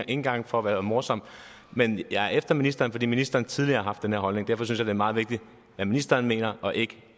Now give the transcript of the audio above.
engang for at være morsom men jeg er efter ministeren fordi ministeren tidligere har haft den her holdning derfor synes er meget vigtigt hvad ministeren mener og ikke